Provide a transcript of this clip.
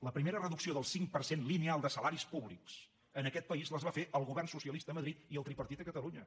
la primera reducció del cinc per cent lineal de salaris públics en aquest país la va fer el govern socialista a madrid i el tripartit a catalunya